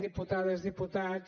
diputades diputats